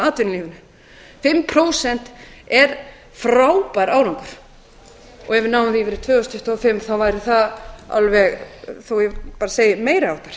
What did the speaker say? atvinnulífinu fimm prósent er frábær árangur og ef við náum því fyrir tvö þúsund tuttugu og fimm væri það alveg meiri háttar